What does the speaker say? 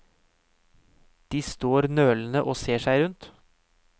De står nølende og ser seg rundt.